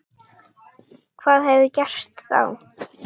Hvað hefði gerst þá?